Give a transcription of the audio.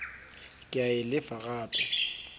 ke a e lefa gape